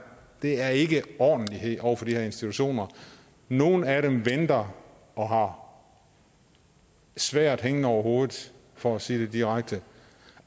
er ikke ordentlighed over for de her institutioner nogle af dem venter og har sværdet hængende over hovedet for at sige det direkte